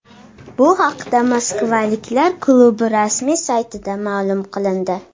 Bu haqda moskvaliklar klubi rasmiy saytida ma’lum qilindi .